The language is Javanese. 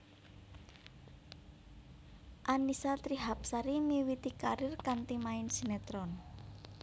Annisa Trihapsari miwiti karir kanthi main sinetron